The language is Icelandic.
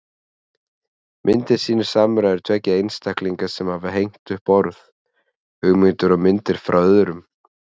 Myndin sýnir samræður tveggja einstaklinga sem hafa hengt upp orð, hugmyndir og myndir frá öðrum.